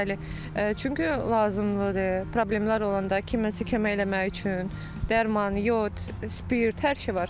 Bəli, çünki lazımlıdır, problemlər olanda kiməsə kömək eləmək üçün dərman, yod, spirt, hər şey var.